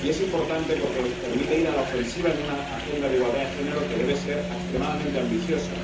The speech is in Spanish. Y es importante porque permite ir a la ofensiva en una agenda de igualdad de género que debe ser extremadamente ambiciosa.